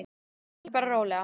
Tökum því bara rólega.